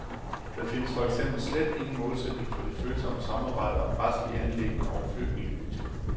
Der findes for eksempel slet ingen målsætning for det følsomme samarbejde om retslige anliggender og flygtningepolitik.